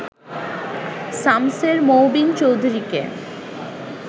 শমসের মোবিন চৌধুরীকে